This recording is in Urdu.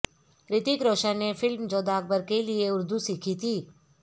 ریتک روشن نے فلم جودھا اکبر کےلئے اردو سیکھی تھی